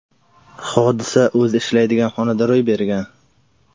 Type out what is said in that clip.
Hodisa o‘zi ishlaydigan xonada ro‘y bergan.